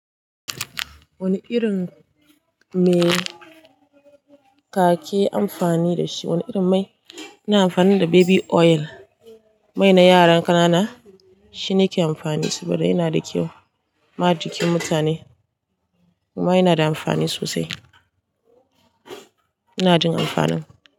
Wani irin mai ka ke amfani da shi? Wani irin mai? Ina amfani da baby oil, mai na yaran ƙanana shi na ke amfani saboda yana da kyau ma jikin mutane kuma yana da amfani sosai. Ina jin amfanin.